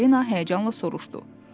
Çipalina həyəcanla soruşdu.